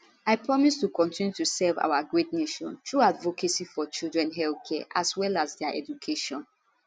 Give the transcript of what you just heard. i promise to kotinu to serve our great nation through advocacy for children health care as well as dia education